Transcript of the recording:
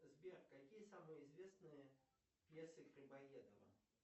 сбер какие самые известные пьесы грибоедова